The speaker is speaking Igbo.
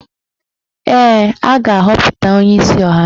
Ee, a ga-aghọpụta onyeisi ọhaneze